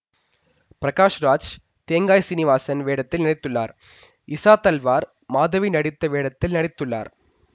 பிரகாஷ் ராஜ் தேங்காய் சீனிவாசன் வேடத்தில் நடித்துள்ளார் இசா தல்வார் மாதவி நடித்த வேடத்தில் நடித்துள்ளார்